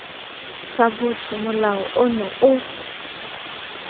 sa botho molao ono o